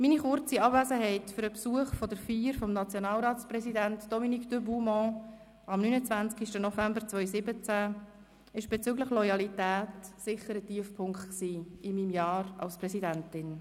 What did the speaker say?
Meine kurze Abwesenheit für den Besuch der Feier des Nationalratspräsidenten, Dominique de Buman, am 29. November 2017 war bezüglich Loyalität sicher ein Tiefpunkt in meinem Jahr als Präsidentin.